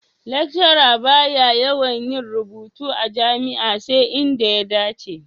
Lecturer ba ya yawan yin rubutu a jami'a sai inda ya dace.